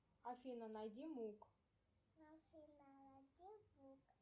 афина найди мук